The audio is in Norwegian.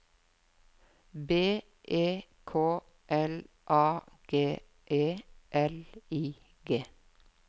B E K L A G E L I G